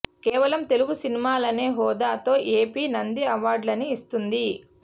కేవలం తెలుగు సినిమాలనే హోదా తో ఎపి నంది అవార్డులని ఇస్తోంది